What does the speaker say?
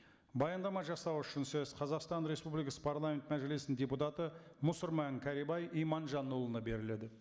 баяндама жасау үшін сөз қазақстан республикасы парламент мәжілісінің депутаты мұсырман кәрібай иманжанұлына беріледі